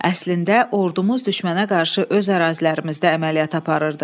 Əslində ordumuz düşmənə qarşı öz ərazilərimizdə əməliyyat aparırdı.